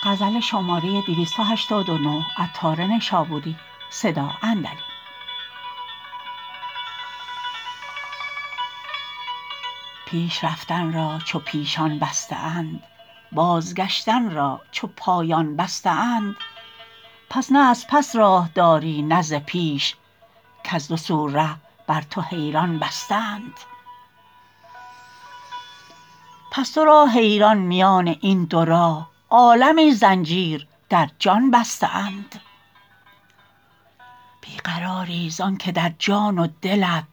پیش رفتن را چو پیشان بسته اند بازگشتن را چو پایان بسته اند پس نه از پس راه داری نه ز پیش کز دو سو ره بر تو حیران بسته اند پس تو را حیران میان این دو راه عالمی زنجیر در جان بسته اند بی قراری زانکه در جان و دلت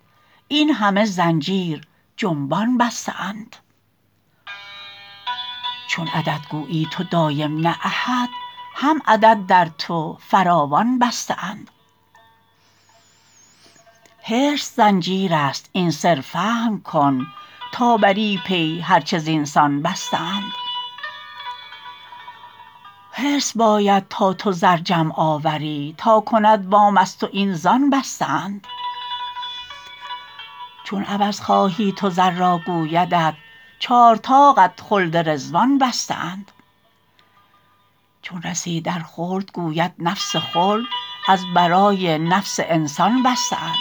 این همه زنجیر جنبان بسته اند چون عدد گویی تو دایم نه احد هم عدد در تو فراوان بسته اند حرص زنجیر است این سر فهم کن تا بری پی هرچه زینسان بسته اند حرص باید تا تو زر جمع آوری تا کند وام از تو این زان بسته اند چون عوض خواهی تو زر را گویدت چار طاقت خلد رضوان بسته اند چون رسی در خلد گوید نفس خلد از برای نفس انسان بسته اند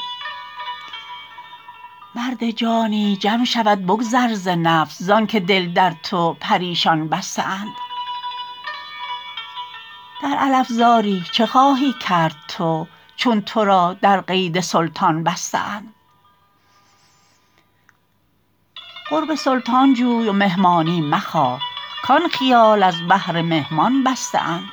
مرد جانی جمع شود بگذر ز نفس زانکه دل در تو پریشان بسته اند در علفزاری چه خواهی کرد تو چون تو را در قید سلطان بسته اند قرب سلطان جوی و مهمانی مخواه کان خیال از بهر مهمان بسته اند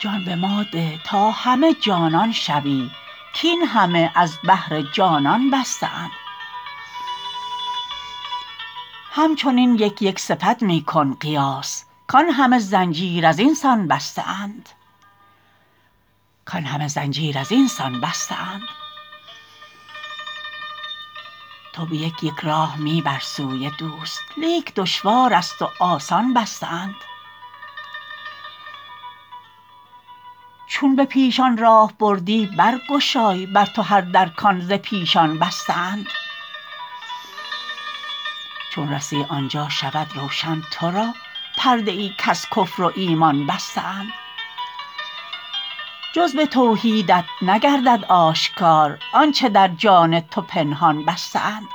جان به ما ده تا همه جانان شوی کین همه از بهر جانان بسته اند هم چنین یک یک صفت می کن قیاس کان همه زنجیر از اینسان بسته اند تو به یک یک راه می بر سوی دوست لیک دشوار است و آسان بسته اند چون به پیشان راه بردی برگشاد بر تو هر در کان ز پیشان بسته اند چون رسی آنجا شود روشن تو را پرده ای کز کفر و ایمان بسته اند جز به توحیدت نگردد آشکار آنچه در جان تو پنهان بسته اند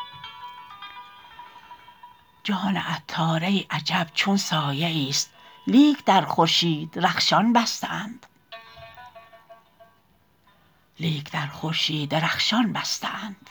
جان عطار ای عجب چون سایه ای است لیک در خورشید رخشان بسته اند